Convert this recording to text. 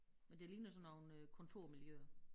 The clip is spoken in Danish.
Men det ligner sådan nogle øh kontormiljøer